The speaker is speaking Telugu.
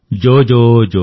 జోజోజో